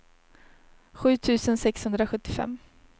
sju tusen sexhundrasjuttiofem